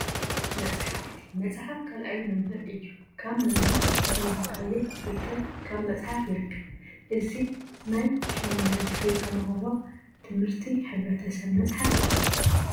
መፅሓፍቲ፡- መፅሓፍ ካልኣይ መምህር እዩ፡፡ ካብ መምህር ዘይተማሃርካዮ ፍልጠት ካብ መፅሓፍቲ ይርከብ፡፡ እዚ ናይ 8ይ ክፍሊ ተምሃሮ ት/ቲ ሕ/ሰብ መፅሓፍ እዩ፡፡